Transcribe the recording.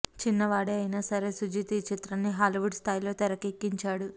చిన్నవాడే అయినా సరే సుజీత్ ఈ చిత్రాన్ని హాలీవుడ్ స్థాయిలో తెరకెక్కించాడు